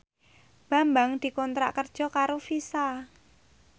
Bambang dikontrak kerja karo Visa